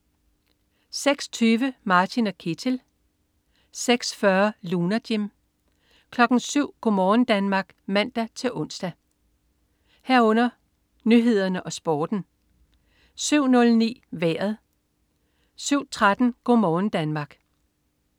06.20 Martin & Ketil 06.40 Lunar Jim 07.00 Go' morgen Danmark (man-ons) 07.00 Nyhederne og Sporten 07.09 Vejret 07.13 Go' morgen Danmark